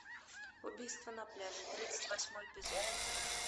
убийство на пляже тридцать восьмой эпизод